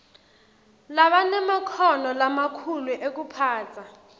labanemakhono lamakhulu ekuphatsa